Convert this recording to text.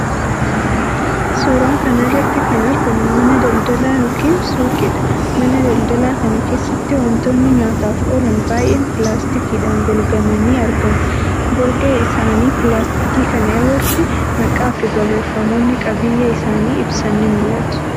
Suuraa kana irratti kan argamu mana daldalaa yookiin suuqiidha. Mana daldalaa kana keessatti wantoonni nyaataaf oolan baay'een pilaastikiidhaan golgamanii argamu. Golgaa isaanii pilaastikii kana irratti maqaafi barreeffamootni qabiyyee isaanii ibsan ni mul'atu.